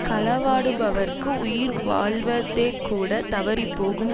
களவாடுபவர்க்கு உயிர் வாழ்வதேகூடத் தவறிப்போகும்